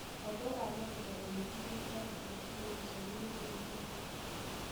ako agenge en keringaik che tuen chekilelen miten